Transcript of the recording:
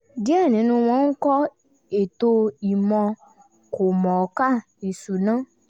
díẹ̀ ninu wọn ń kọ́ ètò ìmọ̀ọ́ kòmọ̀ọ́kà ìsúná